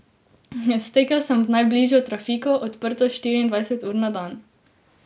Stekel sem v najbližjo trafiko, odprto štiriindvajset ur na dan.